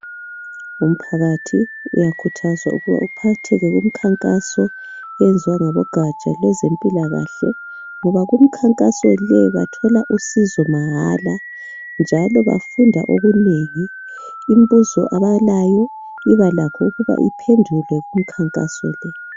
Umphakathi uyakhuthazwa ukuba uphatheke kumkhankaso oyenziwa ngabogaja lwezempilakahle ngoba kumkhankaso le bathola usizo mahala njalo bafunda okunengi, imbuzo abalayo ibalakho ukuba iphendulwe kumkhankaso le.